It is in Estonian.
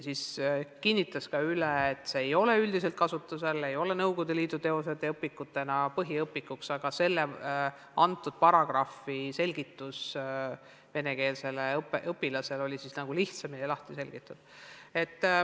See õpetaja kinnitas ka üle, et üldiselt ei ole Nõukogude Liidu teosed põhiõpikutena kasutusel, aga selle konkreetse paragrahvi selgitus oli venekeelsele õpilasele lihtsamini arusaadav.